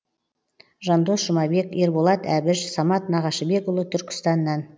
жандос жұмабек ерболат әбіш самат нағашыбекұлы түркістаннан